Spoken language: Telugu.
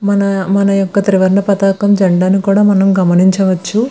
మన మన ఒక త్రివర్ణ పతాకం జెండ ని కూడా గమనిచ్చవచ్చు.